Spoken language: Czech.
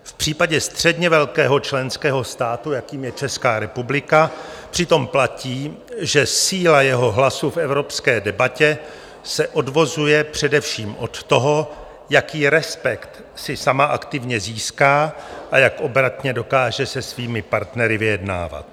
V případě středně velkého členského státu, jakým je Česká republika, přitom platí, že síla jeho hlasu v evropské debatě se odvozuje především od toho, jaký respekt si sama aktivně získá a jak obratně dokáže se svými partnery vyjednávat.